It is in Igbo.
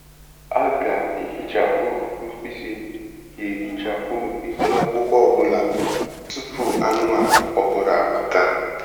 A ga-ehichapụ mkpịsị ga-ehichapụ mkpịsị akwụkwọ ọ bụla tupu anụmanụ ọhụrụ abata.